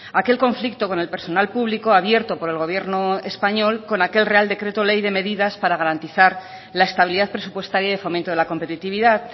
aquel conflicto con el personal público abierto por el gobierno español con aquel real decreto ley de medidas para garantizar la estabilidad presupuestaria y fomento de la competitividad